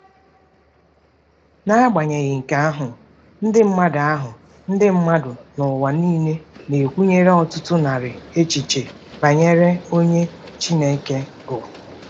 N'agbanyeghị nke ahụ, ndị mmadụ ahụ, ndị mmadụ n'ụwa nile na-ekwenyere ọtụtụ narị echiche banyere onye Chineke bụ.